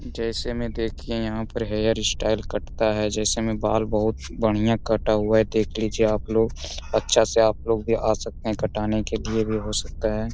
जैसे में देखिए यहाँ पर हेयर स्टाइल कटता है जैसे में बाल बहुत बढ़िया कटा हुआ है देख लीजिए आपलोग अच्छा से आप लोग भी आ सकते है कटाने के लिए भी हो सकता है।